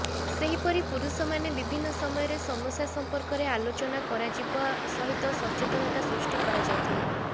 ସେହିପରି ପୁରୁଷମାନେ ବିଭିନ୍ନ ସମୟରେ ସମସ୍ୟା ସଂପର୍କରେ ଆଲୋଚନା କରାଯିବା ସହିତ ସଚେତନତା ସୃଷ୍ଟି କରାଯାଇଥିଲା